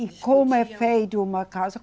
E como é feito uma casa?